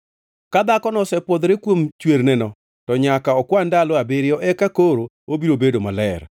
“ ‘Ka dhakono osepwodhore kuom chwerneno, to nyaka okwan ndalo abiriyo, eka koro obiro bedo maler.